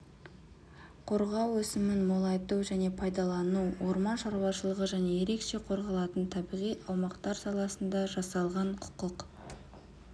қорғау өсімін молайту және пайдалану орман шаруашылығы және ерекше қорғалатын табиғи аумақтар саласында жасалған құқық